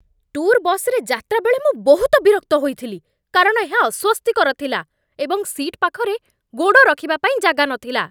Tour ବସ୍‌ରେ ଯାତ୍ରା ବେଳେ ମୁଁ ବହୁତ ବିରକ୍ତ ହୋଇଥିଲି କାରଣ ଏହା ଅସ୍ଵସ୍ତିକର ଥିଲା ଏବଂ ସିଟ୍ ପାଖରେ ଗୋଡ଼ ରଖିବା ପାଇଁ ଜାଗା ନଥିଲା।